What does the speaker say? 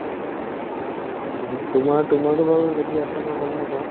নহয়, তোমাৰ তোমাৰটো বাৰু যদি আছে মই গম নাপাও